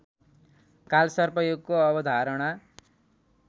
कालसर्पयोगको अवधारणा